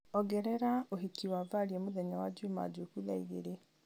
ongerera ũhiki wa valia mũthenya wa njuma njũku thaa igĩrĩ